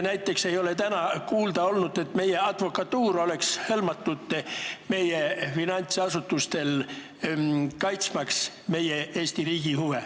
Näiteks ei ole täna kuulda olnud, et meie advokatuur oleks hõlmatud, kaitsmaks Eesti riigi huve.